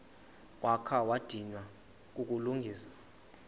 wakha wadinwa kukulungisa